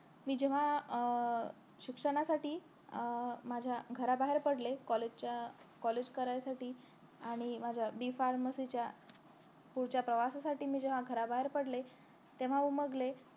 मी जेव्हा अं शिक्षणासाठी अं माझ्या घराबाहेर पडले college च्या college करायसाठी आणि मी माझ्या B pharmacy च्या पुढच्या प्रवासासाठी मी जेव्हा बाहेर पडले तेव्हा उमगले